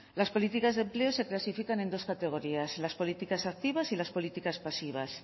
las políticas de empleo se clasifican en dos categorías las políticas activas y las políticas pasivas